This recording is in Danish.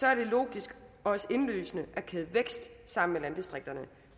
er det logisk og også indlysende at kæde vækst sammen med landdistrikterne